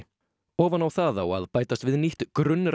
ofan á það á að bætast við nýtt